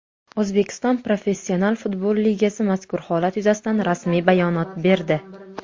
O‘zbekiston Professional futbol ligasi mazkur holat yuzasidan rasmiy bayonot berdi.